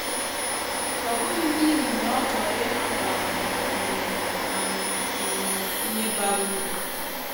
Ọ bụghị n’ihi na ọ chọrọ ịnapụ anyị um anyị um ihe bara uru.